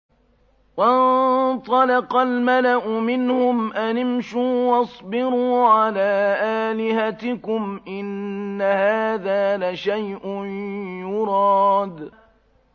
وَانطَلَقَ الْمَلَأُ مِنْهُمْ أَنِ امْشُوا وَاصْبِرُوا عَلَىٰ آلِهَتِكُمْ ۖ إِنَّ هَٰذَا لَشَيْءٌ يُرَادُ